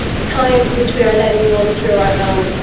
time which we are letting run through our hands.